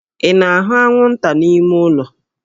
Ị na-ahụ anwụnta n'ime ụlọ?